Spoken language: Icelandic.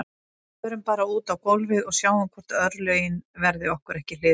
Förum bara út á gólfið og sjáum hvort örlögin verði okkur ekki hliðholl